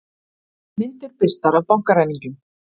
Myndir birtar af bankaræningjum